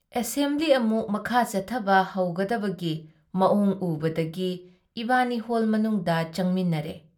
Assembly ꯑꯃꯨꯛ ꯃꯈꯥ ꯆꯠꯊꯕ ꯍꯧꯒꯗꯕꯒꯤ ꯃꯋꯣꯡ ꯎꯕꯗꯒꯤ ꯏꯕꯥꯅꯤ ꯍꯣꯜ ꯃꯅꯨꯡꯗ ꯆꯪꯃꯤꯟꯅꯔꯦ ꯫